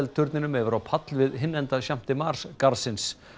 turninum yfir á pall við hinn enda Champ de Mars garðsins